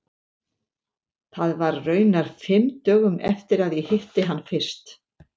Það var raunar fimm dögum eftir að ég hitti hann fyrst.